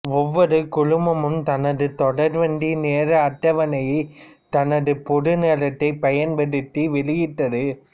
ஒவ்வொரு குழுமமும் தனது தொடர்வண்டி நேர அட்டவணையைத் தனது பொது நேரத்தைப் பயன்படுத்தி வெளியிட்டது